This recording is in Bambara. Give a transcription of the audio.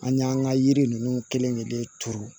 An y'an ka yiri ninnu kelen kelen kelen turu